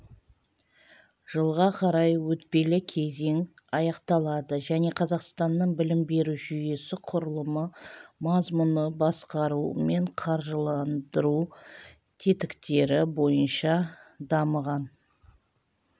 жылға қарай өтпелі кезең аяқталады және қазақстанның білім беру жүйесі құрылымы мазмұны басқару мен қаржыландыру тетіктері бойынша дамыған